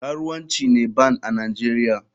Karuwanci ne band a nigeria.